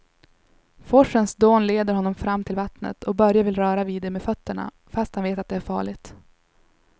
Forsens dån leder honom fram till vattnet och Börje vill röra vid det med fötterna, fast han vet att det är farligt.